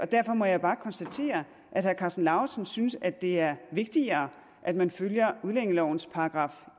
derfor må jeg bare konstatere at herre karsten lauritzen synes det er vigtigere at man følger udlændingelovens §